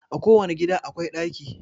A ko wani gida akwai ɗaki